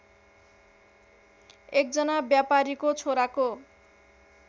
एकजना व्यापारीको छोराको